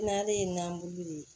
N'ale ye nan bulu ye